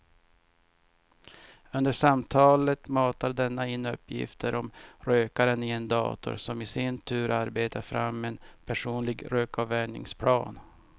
Under samtalet matar denna in uppgifter om rökaren i en dator som i sin tur arbetar fram en personlig rökavvänjningsplan.